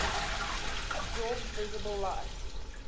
absorb visible light